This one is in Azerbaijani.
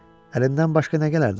Əlimdən başqa nə gələrdi axı?